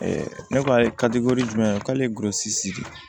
ne ko a ye ka di kori jumɛn k'ale gosi